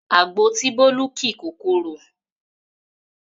Àgbo tí Bólú ki kò korò